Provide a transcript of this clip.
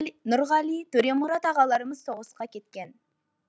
нұрғали төремұрат ағаларымыз соғысқа кеткен